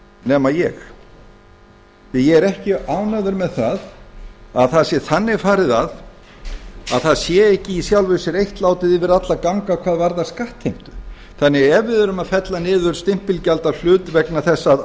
nema ég ég er ekki ánægður með að það sé þannig farið að að það sé ekki í sjálfu sér eitt látið yfir alla ganga hvað varðar skattheimtu þannig að ef við erum að fella niður stimpilgjald af hlut vegna þess að